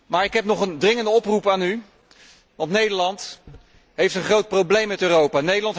Maar ik heb nog een dringende oproep aan u, want Nederland heeft een groot probleem met Europa.